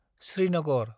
Srinagar